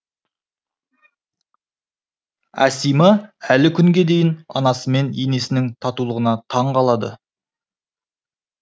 әсима әлі күнге дейін анасы мен енесінің татулығына таң қалады